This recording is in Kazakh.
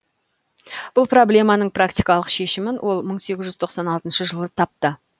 бұл проблеманың практикалық шешімін ол мың сегіз жүз тоқсан алтыншы жылы тапты